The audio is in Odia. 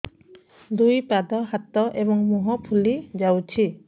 ଦୁଇ ପାଦ ହାତ ଏବଂ ମୁହଁ ଫୁଲି ଯାଉଛି